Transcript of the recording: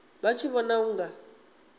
vha tshi vhona u nga